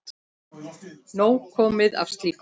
Nóg komið af slíku.